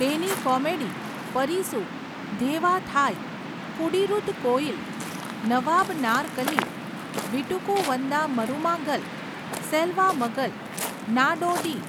તેની કોમેડી પરિસુ, ધેવા થાઈ, કુડીરુધ કોયિલ, નવાબ નારકલી, વીટુકુ વંદા મરુમાગલ, સેલ્વા મગલ, નાડોડી,